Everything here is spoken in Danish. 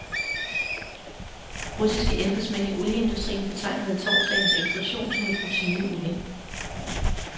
Russiske embedsmænd i olieindustrien betegnede torsdagens eksplosion som et rutineuheld.